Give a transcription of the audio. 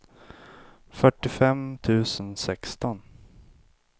fyrtiofem tusen sexton